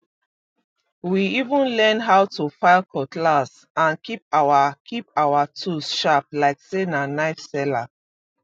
we even learn how to file cutlass and keep our keep our tools sharp like say na knife seller